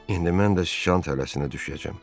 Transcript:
İndi mən də şükan tələsinə düşəcəyəm.